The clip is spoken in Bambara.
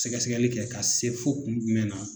Sɛgɛsɛgɛli kɛ ka se fo kun jumɛn na